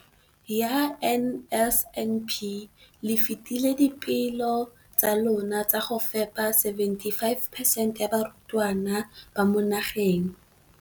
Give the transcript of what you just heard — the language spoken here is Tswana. Ka NSNP le fetile dipeelo tsa lona tsa go fepa masome a supa le botlhano a diperesente ya barutwana ba mo nageng.